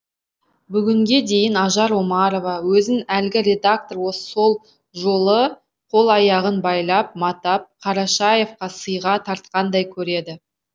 бүгінге дейін ажар омарова өзін әлгі редактор сол жолы қол аяғын байлап матап қарашаевқа сыйға тартқандай көреді